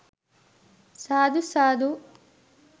සාදු සාදු